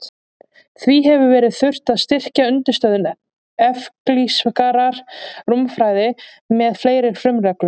Því hefur þurft að styrkja undirstöður evklíðskrar rúmfræði með fleiri frumreglum.